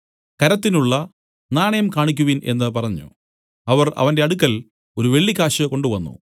കരത്തിനുള്ള നാണയം കാണിക്കുവിൻ എന്നു പറഞ്ഞു അവർ അവന്റെ അടുക്കൽ ഒരു വെള്ളിക്കാശ് കൊണ്ടുവന്നു